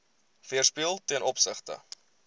weerspieël ten opsigte